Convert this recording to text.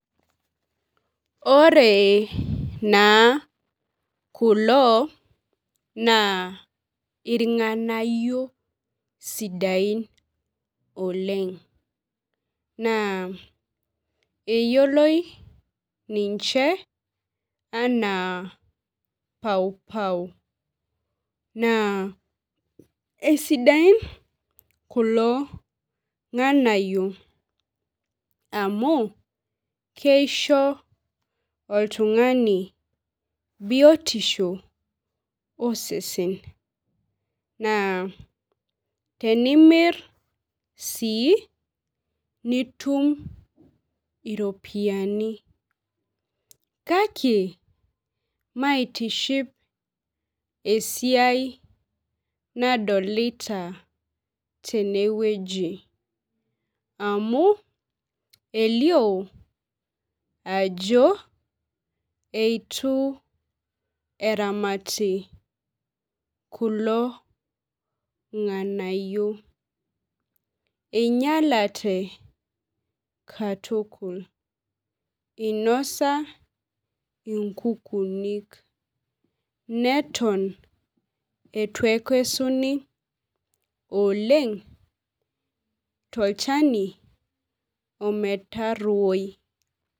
Ore naa kulo naa irnganyio sidain oleng , naa eyioloi ninche anaa pawpaw . Naa kesidain kulo nganayioamu keisho oltungani bitisho osesen naa tenimir sii nitum iropiyiani , kake maitiship esiai nadolita tenewueji amu elio ajo eitu eramati kulo nganayio , inyalate katukul ,inosa inkukunik neton oleng eitun ekesuni tolchani ometaruoi.